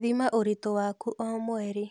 Thima ũritu waku o mweri